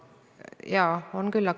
Täpsustav küsimus, Raimond Kaljulaid, palun!